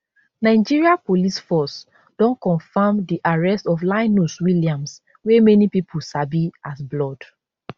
nigeria police force don confam di arrest of linus williams wey many pipo sabi as blord